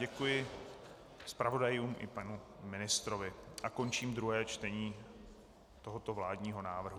Děkuji zpravodajům i panu ministrovi a končím druhé čtení tohoto vládního návrhu.